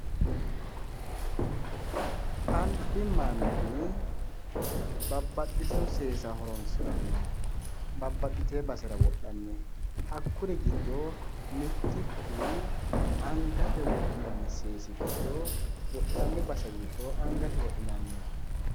Albi manni babbaxxitino seesa horoonsiranno babbaxxitino basera wodhanni. Hakkuri giddo mittichu angate wodhinanni seesi giddo wodhine base giddo angate wodhinanniho.